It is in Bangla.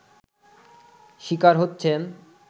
শিকার হচ্ছেন